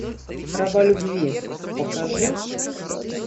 раба любви покажи